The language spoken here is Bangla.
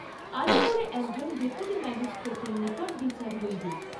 আলিপুরে একজন ডেপুটি মাজিষ্ট্রেটের নিকট বিচার হইবে।